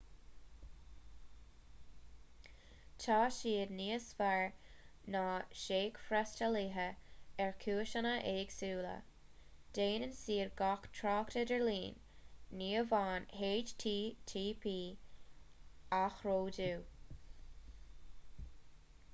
tá siad níos fearr ná seachfhreastalaithe ar chúiseanna éagsúla déanann siad gach trácht idirlín ní amháin http athródú